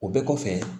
O bɛɛ kɔfɛ